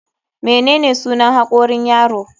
Menene sunan hakorin yaro?